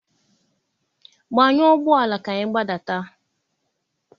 Gbanyụọ ụgbọ ala ka anyị gbadata!